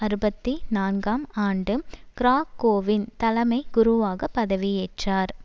அறுபத்தி நான்காம் ஆண்டு கிராகோவின் தலைமைக் குருவாக பதவியேற்றார்